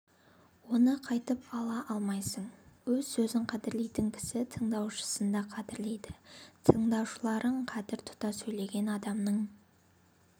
оны қайтып ала алмайсың өз сөзін қадірлейтін кісі тыңдаушысын да қадірлейді тыңдаушыларын қадір тұта сөйлеген адамның